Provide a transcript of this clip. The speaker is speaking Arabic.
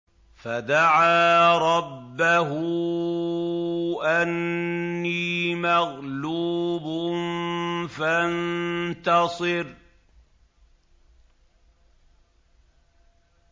فَدَعَا رَبَّهُ أَنِّي مَغْلُوبٌ فَانتَصِرْ